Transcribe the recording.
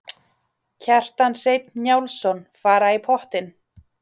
Kjartan Hreinn Njálsson: Fara í pottinn?